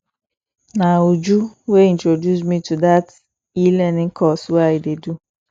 na uju wey introduce me to dat elearning course wey i dey do